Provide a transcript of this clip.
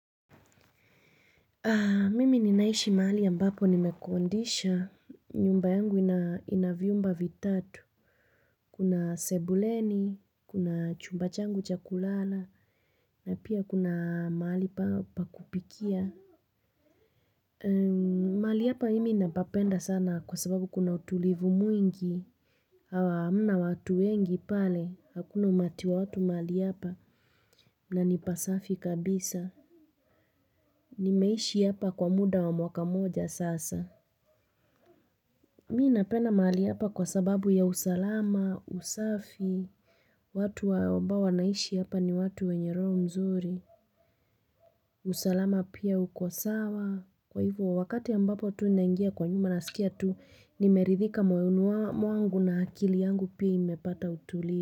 Mimi ninaishi mali ambapo nimekodisha. Nyumba yangu ina vyumba vitatu. Kuna sebuleni, kuna chumba changu cha kulala, na pia kuna mahali pa kupikia. Mahali hapa mimi ninapapenda sana kwa sababu kuna utulivu mwingi. Aaah hamna watu wengi pale, hakuna umati wa watu mahali hapa na ni pasafi kabisa. Nimeishi hapa kwa muda wa mwaka mmoja sasa. Mi napenda mali hapa kwa sababu ya usalama, usafi, watu wa ambao wanaishi hapa ni watu wenye roho mzuri, usalama pia uko sawa, kwa hivo wakati ambapo tu nangia kwa nyuma nasikia tu, nimeridhika moyoni mwangu na akili yangu pia imepata utulivu.